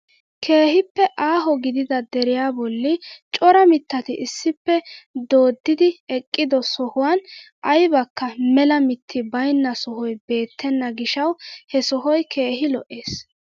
Keehippe aaho gidida deriyaa bolli cora mittati issippe dooddidi eqqido sohuwaan aybakka mela mitti baynna sohoy beettena gishshawu he sohoy keehi lo"ees.